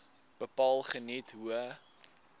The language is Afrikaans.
bepaal geniet hoë